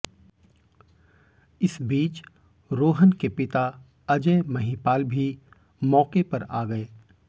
इस बीच रोहन के पिता अजय महिपाल भी मौके पर आ गए